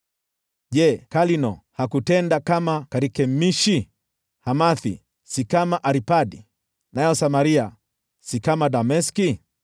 Je, Kalno hakutendwa kama Karkemishi? Hamathi si kama Arpadi, nayo Samaria si kama Dameski?